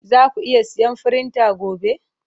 Zaku iya siyan firinta gobe?